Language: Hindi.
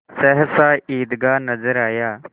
सहसा ईदगाह नजर आया